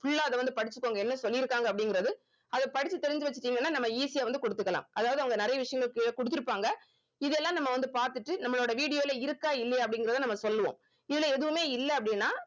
full ஆ அது வந்து படிச்சுக்கோங்க என்ன சொல்லியிருக்காங்க அப்படிங்கறது அத படிச்சு தெரிஞ்சு வச்சுக்கிட்டீங்கன்னா நம்ம easy ஆ வந்து குடுத்துக்கலாம் அதாவது அவங்க நிறைய விஷயங்கள் கு~ குடுத்திருப்பாங்க இதெல்லாம் நம்ம வந்து பார்த்துட்டு நம்மளோட video ல இருக்கா இல்லையா அப்படிங்கறத நம்ம சொல்லுவோம் இதுல எதுவுமே இல்ல அப்படின்னா